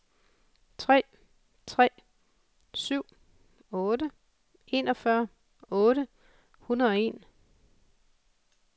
tre tre syv otte enogfyrre otte hundrede og en